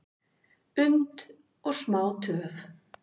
und og smá töf,